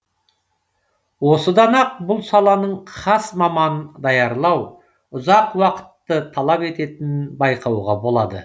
осыдан ақ бұл саланың хас маманын даярлау ұзақ уақытты талап ететінін байқауға болады